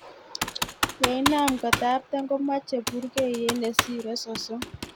Ilenam kotaptem komomoche burkeyet nesire sosom.